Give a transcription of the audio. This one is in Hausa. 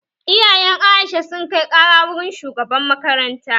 Iyayen Aisha sun kai ƙara wurin shugaban makaranta